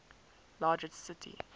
largest city